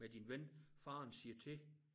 Med din ven faren siger til